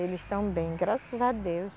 Eles estão bem, graças a Deus.